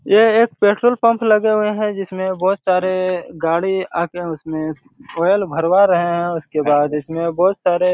यह एक petrol pump लगे हुए हैं जिसमे बहुत सारे गाड़ी आते हैं उसमे तेल भरवा रहे हैं उसके बाद उसमे बहुत सारे--